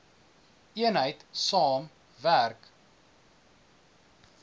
eenheid saam gewerk